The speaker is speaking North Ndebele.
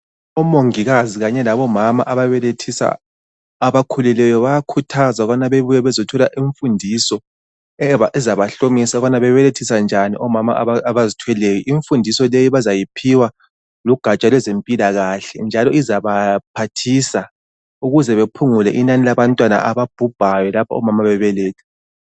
Omongokazi kanye labomama ababelethisa abakhulelweyo, bayakhuthazwa ukuba babuye bazothola imfundiso ezabahlomisa ukubana babelethisa njani omama abazithweleyo. Imfundiso leyi bazayiphiwa lugatsha lwezempilakahle njalo izabaphathisa ukuzebaphungule inani labantwana ababhubhayo lapho omama bebeletha.